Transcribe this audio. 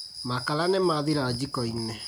Makara nĩmathira jiko-inĩ